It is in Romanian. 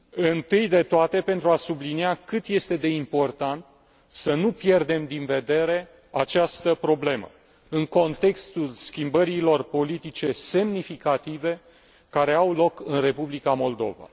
Întâi de toate, pentru a sublinia cât este de important să nu pierdem din vedere această problemă în contextul schimbărilor politice semnificative care au loc în Republica Moldova.